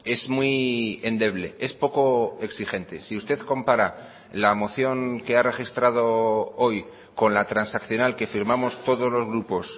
es muy endeble es poco exigente si usted compara la moción que ha registrado hoy con la transaccional que firmamos todos los grupos